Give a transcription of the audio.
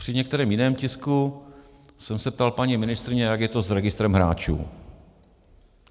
Při některém jiném tisku jsem se ptal paní ministryně, jak je to s registrem hráčů.